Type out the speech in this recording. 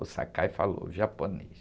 O Sakai falou, o japonês.